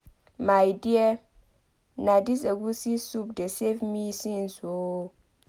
My dear na dis egwusi soup dey save me since oo.